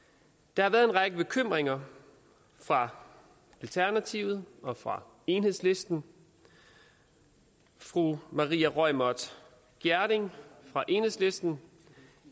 der har været en række bekymringer fra alternativet og fra enhedslisten fru maria reumert gjerding fra enhedslisten